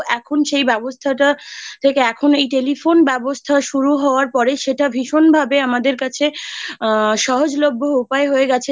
এখন সেই ব্যবস্থাটা থেকে এখন এই Telephone ব্যবস্থা শুরু হওয়ার পরে সেটা ভীষণ ভাবে আমাদের কাছে আ সহজলভ্য উপায়ে হয়ে গেছে যে